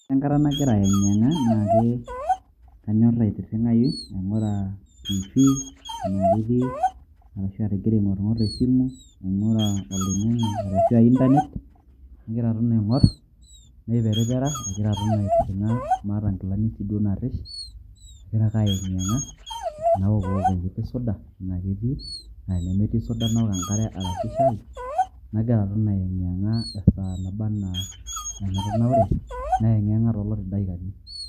Ore enkata nagira aiyeng'yeng'a, na ke kanyor aitirring'ayu aing'ura TV ena ketii, arashu agira aing'orng'or esimu, aing'or oloing'ang'e ashu a Internet ,nagira aton aing'or, naiperipera, nagira aton aitirring'a maata nkilani si duo narrish, agira ake ayeng'yeng'a ,naokuwok enkiti suda ena ketii, na enemetii suda naok enkare arashu shai. Nagira aton ayeng'yeng'a esaa naba enaa enatanaure. Nayeng'yeng'a toluti dakikani.